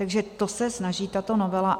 O to se snaží tato novela.